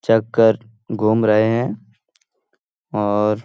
check कर घूम रहे हैं और --